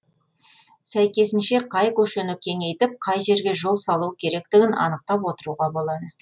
сәйкесінше қай көшені кеңейтіп қай жерге жол салу керектігін анықтап отыруға болады